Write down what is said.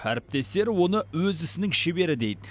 әріптестері оны өз ісінің шебері дейд